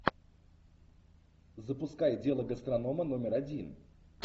запускай дело гастронома номер один